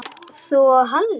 Þú og Halli?